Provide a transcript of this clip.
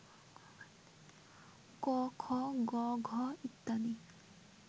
ক, খ, গ, ঘ ইত্যাদি